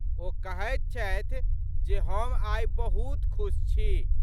ओ कहैत छथि जे हम आइ बहुत खुश छी।